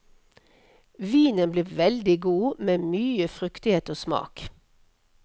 Vinen blir veldig god, med mye fruktighet og smak.